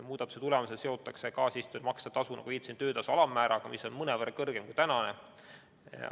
Muudatuse tulemusel seotakse kaasistujatele makstav tasu, nagu viitasin, töötasu alammääraga, mis on mõnevõrra kõrgem kui praegu makstav tasu.